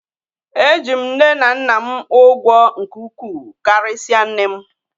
Eji m nne na nna m ụgwọ nke ukwuu karịsịa nne m.